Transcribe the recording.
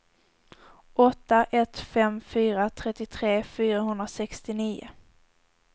åtta ett fem fyra trettiotre fyrahundrasextionio